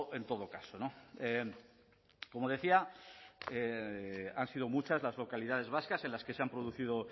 en todo caso como decía han sido muchas las localidades vascas en las que se han producido